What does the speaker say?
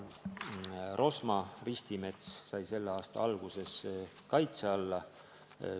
Rosma ristimets sai selle aasta alguses kaitse alla.